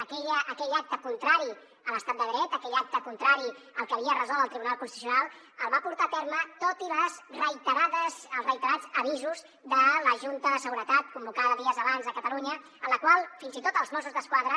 aquell acte contrari a l’estat de dret aquell acte contrari al que havia resolt el tribunal constitucional el va portar a terme tot i els reiterats avisos de la junta de seguretat convocada dies abans a catalunya en la qual fins i tot els mossos d’esquadra